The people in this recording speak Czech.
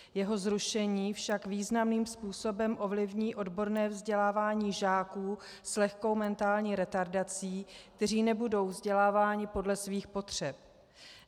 Jeho zrušení však významným způsobem ovlivní odborné vzdělávání žáků s lehkou mentální retardací, kteří nebudou vzděláváni podle svých potřeb.